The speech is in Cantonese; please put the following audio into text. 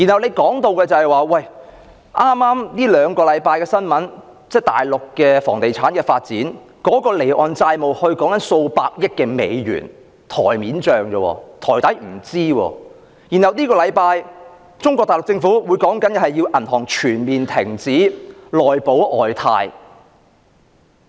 根據近兩星期的新聞報道，內地房地產發展的離岸債務已高達數百億美元，而這只是表面帳目而已，實際數字不詳；內地政府更於本周要求銀行全面停止"內保外貸"。